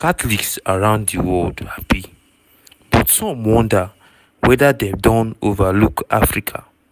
catholics around di world happy but some wonder weda dem don overlook africa.